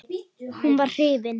Hún var hrifin.